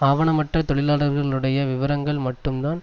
ஆவணமற்ற தொழிலாளர்களுடைய விவரங்களை மட்டும்தான்